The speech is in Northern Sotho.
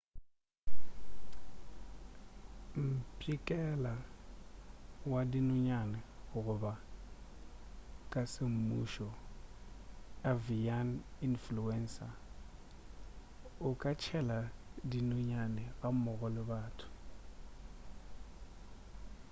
mpšhikela wa dinonyane goba ka semmušo avian influenza o ka tšhela dinonyane gammogo le batho